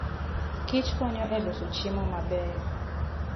Kich konyo e loso chiemo mabeyo.